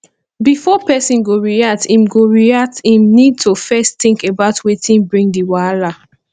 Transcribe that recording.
before person go react im go react im need to first think about wetin bring di wahala